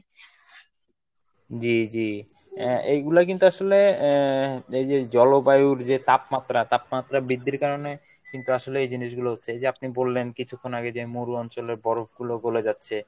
জি জি আহ এইগুলা কিন্তু আসলে আহ এইযে জলবায়ুর যে তাপমাত্রা, তাপমাত্রা বৃদ্ধির কারনে কিন্তু আসলে এই জিনিসগুলা হচ্ছে, এই যে আপনি বললেন কিছুক্ষন আগে যে মরু অঞ্চলের বরফগুলো গলে যাচ্ছে